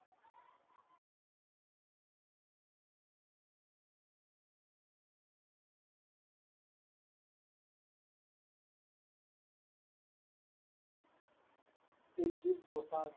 Diljit Dosanjh